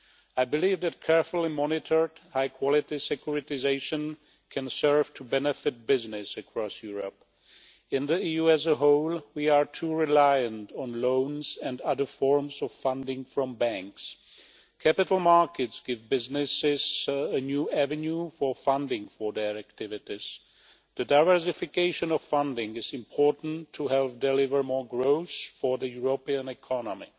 I believe that carefully monitored, high-quality securitisation can serve to benefit business across Europe. In the EU as a whole, we are too reliant on loans and other forms of funding from banks. Capital markets give businesses a new avenue for funding for their activities. The diversification of funding is important to help deliver more growth for the European economy.